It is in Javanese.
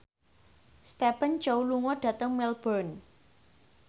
Stephen Chow lunga dhateng Melbourne